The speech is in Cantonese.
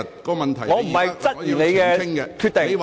我並非質疑你的決定......